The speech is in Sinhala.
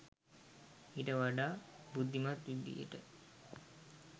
ඊට වඩා බුද්ධිමත් විදියටයි